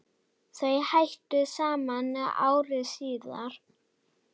Þau hættu saman ári síðar.